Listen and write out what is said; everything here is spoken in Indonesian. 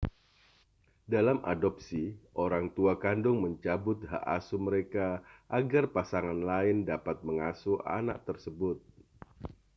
dalam adopsi orang tua kandung mencabut hak asuh mereka agar pasangan lain dapat mengasuh anak tersebut